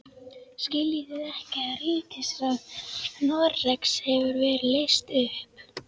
Skiljið þið ekki að ríkisráð Noregs hefur verið leyst upp!